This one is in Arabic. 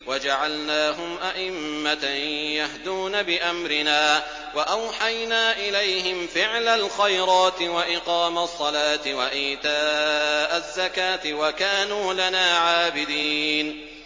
وَجَعَلْنَاهُمْ أَئِمَّةً يَهْدُونَ بِأَمْرِنَا وَأَوْحَيْنَا إِلَيْهِمْ فِعْلَ الْخَيْرَاتِ وَإِقَامَ الصَّلَاةِ وَإِيتَاءَ الزَّكَاةِ ۖ وَكَانُوا لَنَا عَابِدِينَ